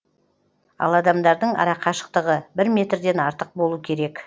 ал адамдардың арақашықтығы бір метрден артық болу керек